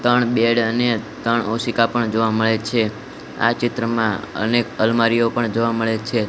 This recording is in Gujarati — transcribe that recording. ત્રણ બેડ અને ત્રણ ઓસિકા પણ જોવા મળે છે આ ચિત્રમાં અનેક અલમારીઓ પણ જોવા મળે છે.